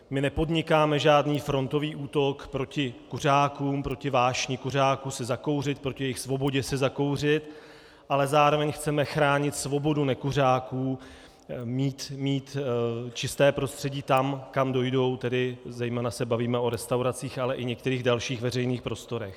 My nepodnikáme žádný frontový útok proti kuřákům, proti vášni kuřáků si zakouřit, proti jejich svobodě si zakouřit, ale zároveň chceme chránit svobodu nekuřáků mít čisté prostředí tam, kam dojdou, tedy zejména se bavíme o restauracích, ale i některých dalších veřejných prostorech.